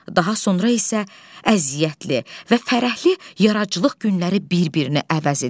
Daha sonra isə əziyyətli və fərəhli yaradıcılıq günləri bir-birini əvəz edir.